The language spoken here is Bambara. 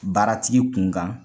Baaratigi kunkan.